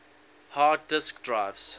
hard disk drives